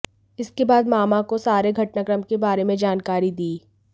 इसके बाद मामा को सारे घटनाक्रम के बारे में जानकारी दी